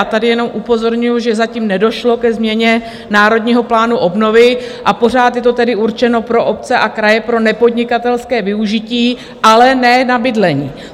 A tady jenom upozorňuju, že zatím nedošlo ke změně Národního plánu obnovy a pořád je to tedy určeno pro obce a kraje, pro nepodnikatelské využití, ale ne na bydlení.